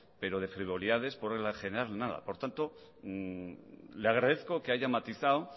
pero de frivolidades por regla general nada por tanto le agradezco que haya matizado